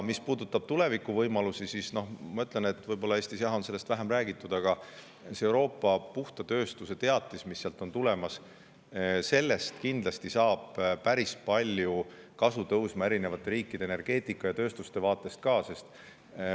Mis puudutab tuleviku võimalusi, siis ma ütlen, et kuigi Eestis on sellest vähem räägitud, Euroopa puhta tööstuse teatisest kindlasti tõuseb päris palju kasu eri riikide energeetika ja tööstuste vaatest.